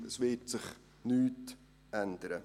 Es wird sich nichts ändern.